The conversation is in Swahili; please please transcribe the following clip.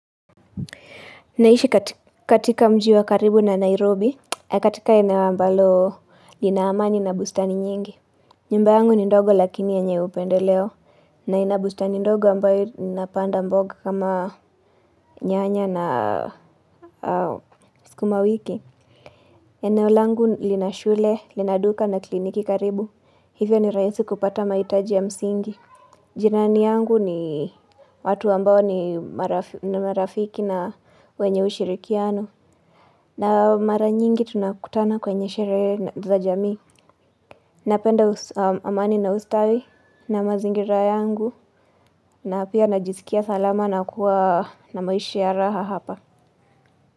Naishi katika mji wa karibu na Nairobi, katika eneo ambalo lina amani na bustani nyingi. Nyumba yangu ni ndogo lakini yenye upendeleo, na ina bustani ndogo ambayo napanda mboga kama nyanya na sukumawiki. Eneo langu lina shule, lina duka na kliniki karibu, hivyo ni rahisi kupata mahitaji ya msingi. Jirani yangu ni watu ambao ni marafiki na wenye ushirikiano. Na mara nyingi tunakutana kwenye sherehe za jamii, napenda amani na ustawi na mazingira yangu, na pia najisikia salama na kuwa na maishi ya raha hapa.